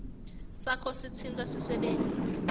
sakho sitsintsa sisebenti